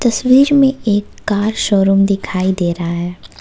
तस्वीर में एक कार शोरूम दिखाई दे रहा हैं।